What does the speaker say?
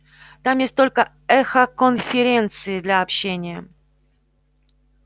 там есть только эхоконференции для общения